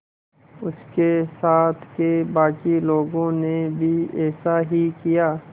उसके साथ के बाकी लोगों ने भी ऐसा ही किया